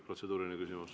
Protseduuriline küsimus.